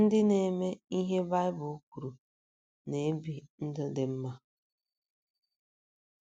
Ndị na - eme ihe Baịbụl kwuru na - ebi ndụ dị mma.